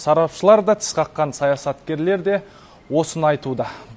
сарапшылар да тіс қаққан саясаткерлер де осыны айтуда